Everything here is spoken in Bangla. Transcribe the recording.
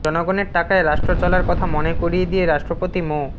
জনগণের টাকায় রাষ্ট্র চলার কথা মনে করিয়ে দিয়ে রাষ্ট্রপতি মো